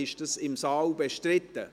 Ist dies im Saal bestritten?